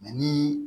ni